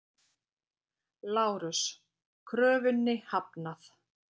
LÁRUS: Kröfunni hafnað!